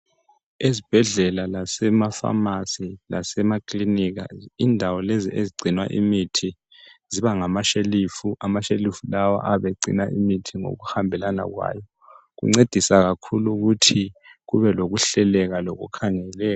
Ezibhedlela lasemafamasi lasemakilinika, indawo lezi ezigcina imithi zibangamashelufu ayabe egcina imithi ngokuhambelana kwayo kuncedisa kakhulu ukuthi kubelokuhleleka lokukhangeleka.